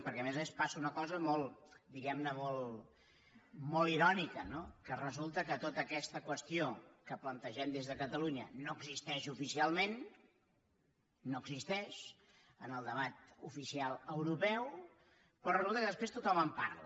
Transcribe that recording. perquè a més a més passa una cosa diguem ne molt irònica no que resulta que tota aquesta qüestió que plantegem des de catalunya no existeix oficialment no existeix en el debat oficial europeu però resulta que després tothom en parla